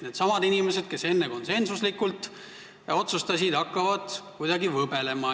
Needsamad inimesed, kes enne konsensuslikult seda otsustasid, hakkasid kuidagi võbelema.